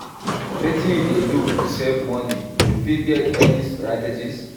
wetin you dey do to save money, you get any strategies?